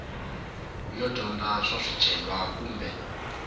yo dyondza swa swicelwa kumbe